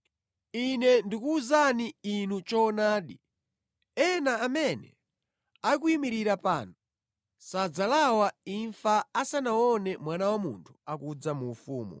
“Ine ndikuwuzani inu choonadi, ena amene akuyimirira pano sadzalawa imfa asanaone Mwana wa Munthu akudza mu ufumu.”